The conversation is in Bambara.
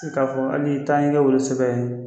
i k'a fɔ hali tan ye wolosɛbɛn ye